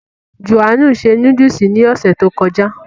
Jòhánù se núdùsì ní ọ̀sẹ̀ tí ó kọjá